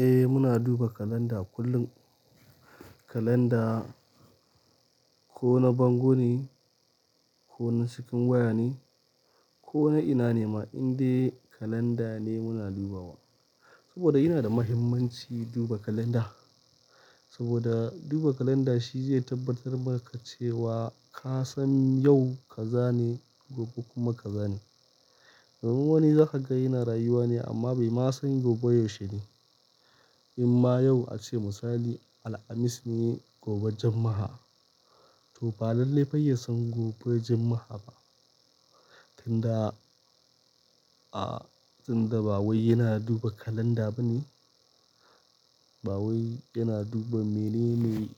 Eh muna duba kalanda kullum. Kalanda ko na bango ne ko na cikin waya ne ko na ina ne ma, indai kalanda ne muna dubawa. Saboda yana da muhimmanci duba kalanda. Saboda duba kalanda shi zai tabbatar maka cewa ka san yau ka za ne, gobe kuma ka za ne. Wani zaka ga yana rayuwa ne amma bai ma san gobe yaushe ne. In ma yau ace misali, Alhamis ne, gobe Juma'a. To ba lalle fa ya son gobe Juma'a ba. Tunda, a, tunda ba wai yana duba kalanda ba ne. Ba wai yana duba mene mai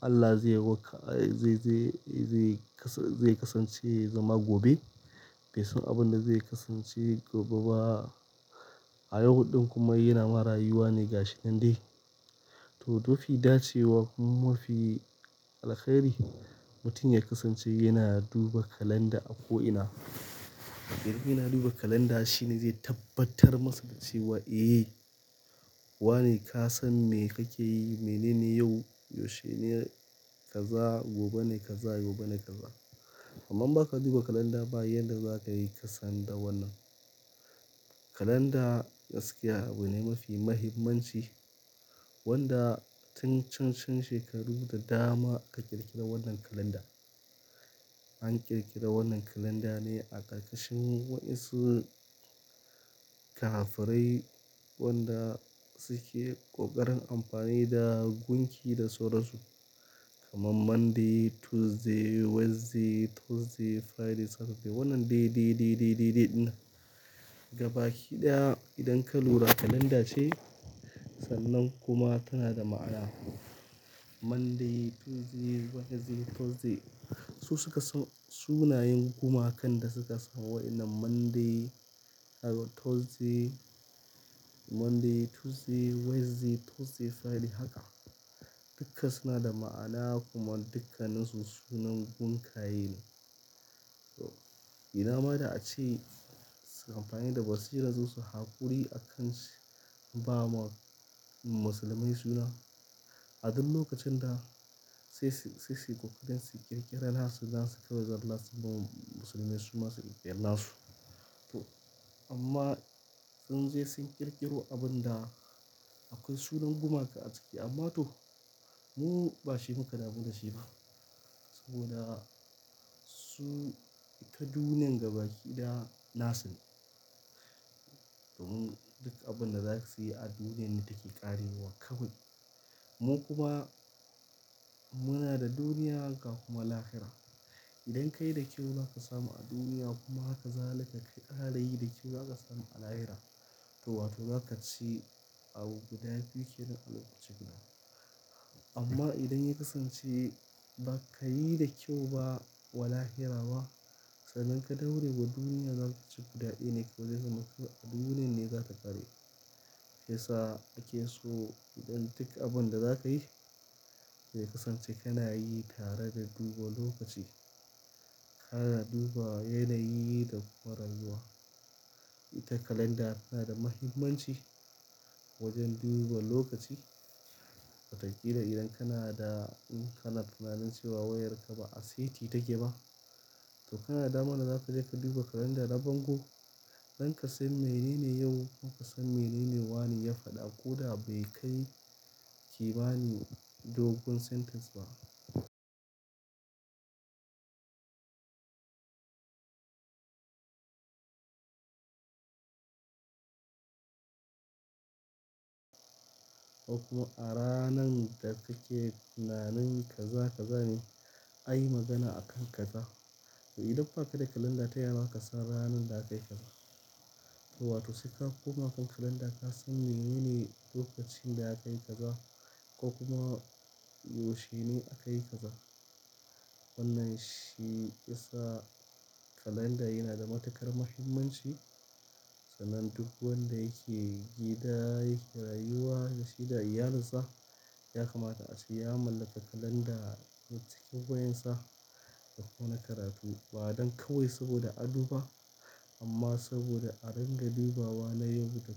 Allah zai wa ka, zai, zai, zai kasance zama gobe. Bai san abin da zai kasance gobe ba. A yau ɗin kuma yana ma rayuwa ne ga shi nan dai. To, mafi dacewa kuma mafi alheri, mutum ya kasance yana duba kalanda a ko ina. Idan yana duba kalanda shi ne zai tabbatar masa da cewa eh wane ka san me kake yi, mene ne yau, yaushe ne ka za, gobe ne ka za, gobe ne ka za. Amma baka duba kalanda ba yanda za ka yi ka san da wannan. Kalanda gaskiya abune mafi muhimmanci wanda tun can can shekaru da dama aka ƙirƙira wannan kalanda. An ƙirƙira wannan kalanda ne a ƙarƙashin waɗansu kafirai wanda suke ƙoƙarin amfani da gunki da sauransu. Kaman Monday, Tuesday, Wednesday, Thursday, Friday, Saturday. Wannan day, day, day, day, day, day dinnan. Gabaki daya idan ka lura kalanda ce, sannan kuma tana da ma'ana. Monday, Tuesday, Wednesday, Thursday. Su suka sa sunayen gumakan da suka sani wa inna Monday, Thursday, Monday, Tuesday, Wednesday, Thursday, Friday haka. Duka suna da ma'ana kuma dukkanin su sunan gunkaye ne. To, ina ma da ace suyi amfani da basira su su haƙuri a kansu ba ma musulmai suna. A duk lokacin da sai su, sai su ƙoƙarin su ƙirƙirar nasu zasu kaiwa Zallar su mu musulmai su masu kirkiri nasu. To, amma sun je sun ƙirƙiro abin da akwai sunan gumaka a ciki. Amma to mu bashi muka dabu da shi ba. Saboda su ta duniyan gabaki da nasu ne. Domin mun duk abin da za su yi a duniyan ne take ƙarewa kawai. Mu kuma muna da duniya haka kuma lahira. Idan kayi da kyau za ka samu a duniya kuma haka zalika karayi da kyau za ka samu alayira. To wato za ka ci abun guda biyu ke nan a lokaci guda. Amma idan ya kasance ba ka yi da kyau ba, wa lahira ba, sannan ka daure wa duniya za ka ci guda ɗaya ne kawai zai zama a duniyan ne za ta ƙare. Shiyasa ake so idan duk abin da za ka yi zai kasance kana yi tare da duba lokaci. Kana duba yanayi da kuma rayuwa. Ita kalanda tana da muhimmanci wajen duba lokaci. Watakila idan kana da, in kana tunanin cewa wayarka ba a saiti take ba, to kana damana za ka je ka duba kalanda na bango. Don ka san menene yau kuma ka san menene wane ya faɗa ko da bai kai ki bani dogun sentence ba. Kuma a ranan da kake tunanin ka za ka za ni, ayi magana a kanka ka. To idan ba ka da kalanda ta yaza ka san ranan da aka yi ka ba. To wato sai ka koma kan kalanda ka san me mene lokacin da aka yi ka za ko kuma yaushe ne aka yi ka za. Wannan shi yasa kalanda yana da matuƙar muhimmanci. Sanan duk wanda yake gida yake rayuwa da shi da iyalinsa. Ya kamata ace ya mallaki kalanda cikin wayan sa da ko na karatu. Ba don kawai saboda a doba, amma saboda a ringa dubawa na yau da kullum.